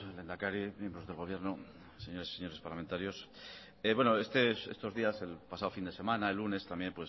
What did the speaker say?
lehendakari miembros del gobierno señoras y señores parlamentarios bueno estos días el pasado fin de semana el lunes también